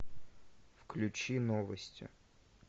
включи новости